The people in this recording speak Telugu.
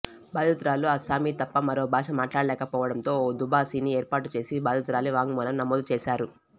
బాధితురాలు అస్సామీ తప్ప మరో భాష మాట్లాడలేకపోవడంతో ఓ దుబాసీని ఏర్పాటు చేసి బాధితురాలి వాంగ్మూలం నమోదు చేశారు